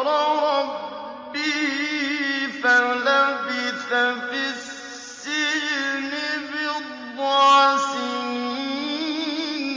رَبِّهِ فَلَبِثَ فِي السِّجْنِ بِضْعَ سِنِينَ